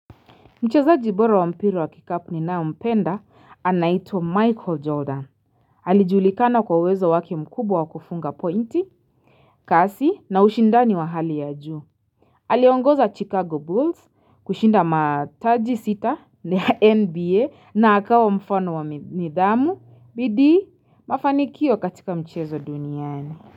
Mchezaji bora wa mpira wa kikapu ninayempenda anaitwa Michael Jordan Alijulikana kwa uwezo wake mkubwa wa kufunga pointi kasi na ushindani wa hali ya juu Aliongoza Chicago Bulls kushinda mataji sita ya nba na akawa mfano wa nidhamu bidii mafanikio katika mchezo duniani.